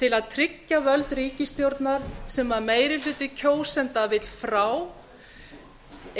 til að tryggja völd ríkisstjórnar sem meiri hluti kjósenda vill frá